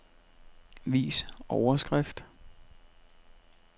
Vis overskrift.